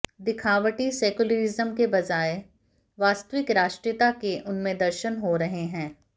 दिखावटी secularism के बजाए वास्तविक राष्ट्रीयता के उनमें दर्शन हो रहे हैं